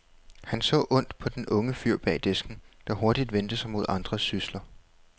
Han så ondt på den unge fyr bag disken, der hurtigt vendte sig mod andre sysler.